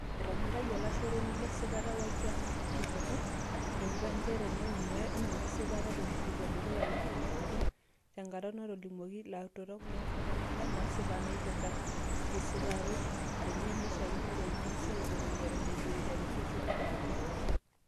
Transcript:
Etonyorayia olashoroni le sipata Wakiaga ilkiliku, euta njere keeku mee enesipata tenikipuo dukuya we nkinining'o tenkata natolimutuo lautarok nkikilikuanat naasipa naipirta esiitaroot enye naishakinore nengasi aibalunye eton eitu eiteru olkesi leropare.